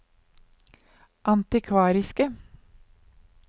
antikvariske